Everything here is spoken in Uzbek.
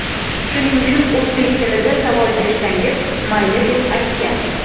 Shuning uchun o‘zbek tilida savol bersangiz, mayli”, deb aytgan.